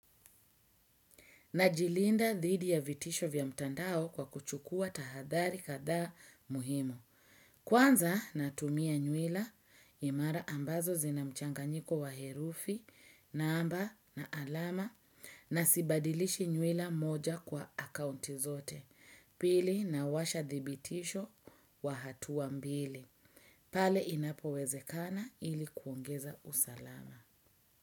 Najilinda dhidi ya vitisho vya mtandao kwa kuchukua tahadhali kadhaa muhimu. Kwanza natumia nyuila imara ambazo zinamchanganyiko wa herufi namba na alama na sibadilishi nyuila moja kwa akaunti zote. Pili nawasha dhibitisho wa hatuwa mbili. Pale inapowezekana ili kuongeza usalama.